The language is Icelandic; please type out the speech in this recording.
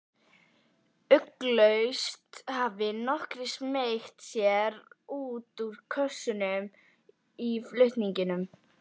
Ugglaust hafi nokkrir smeygt sér út úr kössunum í flutningunum.